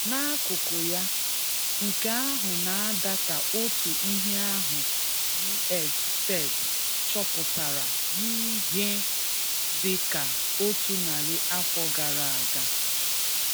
N’akụkụ̀ yà, nkè ahụ̀ na-adà ka otù ihè ahụ̀ US Fed chọ́pụtara n’ihè dị̀ ka otù nàrị̀ afọ̀ garà agà.